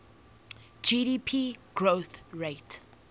gdp growth rate